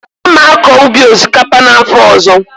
A ma-akọ ubi osikapa n'afọ ọzọ.